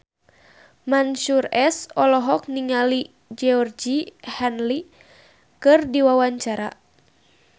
Mansyur S olohok ningali Georgie Henley keur diwawancara